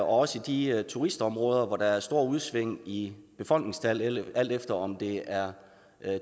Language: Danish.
også i de turistområder hvor der er store udsving i befolkningstal alt efter om det er